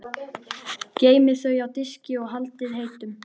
Geymið þau á diski og haldið heitum.